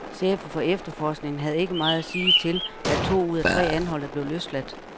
Chefen for efterforskningen, havde ikke meget at sige til, at to ud tre anholdte blev løsladt.